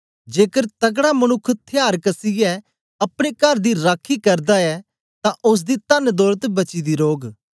जेकर तकड़ा मनुक्ख थयार कसीयै अपने कर दी राखी करदा ऐ तां ओसदी तनदौलत बची दी रौग